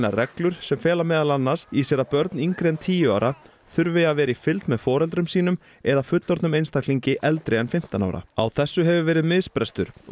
reglur sem fela meðal annars í sér að börn yngri en tíu ára þurfi að vera í fylgd með foreldrum sínum eða fullorðnum einstaklingi eldri en fimmtán ára á þessu hefur verið misbrestur og